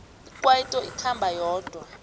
ikwaito ikhamba yodwa